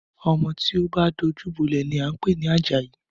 Ọmọ tó bá dojú bọ́lẹ̀ ni à ń pè ní Àjàyí